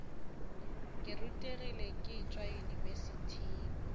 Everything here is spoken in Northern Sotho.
ke rutegile ke tšwa yunibesithing